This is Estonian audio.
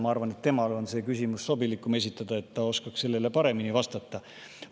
Ma arvan, et temale on see küsimus sobilikum esitada, ta oskab sellele paremini vastata.